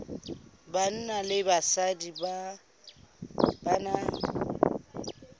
banna le basadi ba na